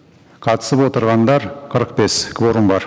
қатысып отырғандар қырық бес кворум бар